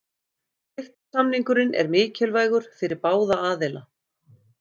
Styrktarsamningurinn er mikilvægur fyrir báða aðila.